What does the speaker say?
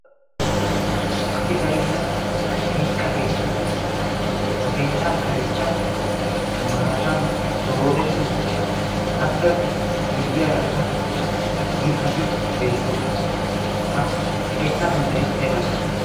asi bainna kaissa keetta. ha keettaa kareekka maatan doodetti uttiis. appe miyyaarakka mittati beettoosona. ha keettaa sunttai aibaa geetettii?